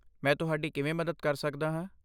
ਮੈਂ ਤੁਹਾਡੀ ਕਿਵੇਂ ਮਦਦ ਕਰ ਸਕਦਾ ਹਾਂ?